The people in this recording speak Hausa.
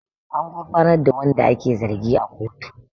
An gurfanar da wanda ake zargi a kotu